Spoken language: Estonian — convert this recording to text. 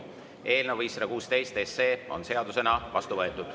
Eelnõu 516 on seadusena vastu võetud.